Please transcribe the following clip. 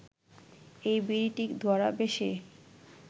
এই বিড়িটি ধরাবে সে